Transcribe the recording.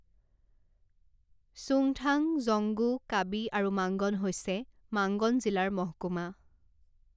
চুংথাং, জংগু, কাবি আৰু মাংগন হৈছে মাংগন জিলাৰ মহকুমা।